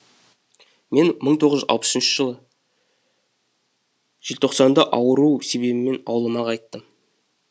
мен мың тоғыз жүз алпыс үшінші жылы желтоқсанда ауру себебімен ауылыма қайттым